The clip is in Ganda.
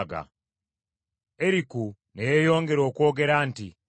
Eriku ne yeeyongera okwogera nti,